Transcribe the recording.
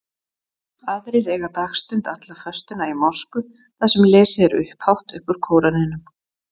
Aðrir eyða dagstund alla föstuna í mosku þar sem lesið er upphátt upp úr Kóraninum.